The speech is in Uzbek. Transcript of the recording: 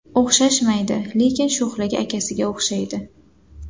O‘xshashmaydi, lekin sho‘xligi akasiga o‘xshaydi.